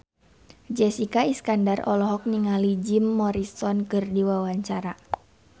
Jessica Iskandar olohok ningali Jim Morrison keur diwawancara